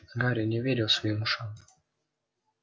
гарри не верил своим ушам